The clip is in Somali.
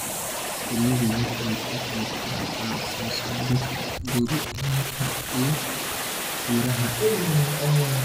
Shinnidu waxay ka qayb qaadataa soo saarista khudaarta iyo miraha.